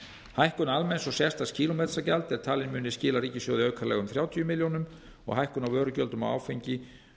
hækkun almenns og sérstaks kílómetragjalds er talin muni skila ríkissjóði aukalega um þrjátíu milljónir króna og hækkun á vörugjöldum á áfengi